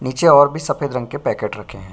नीचे और भी सफेद रंग के पैकेट रखें।